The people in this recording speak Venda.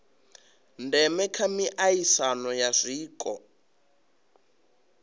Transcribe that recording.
ndeme kha miaisano ya zwiko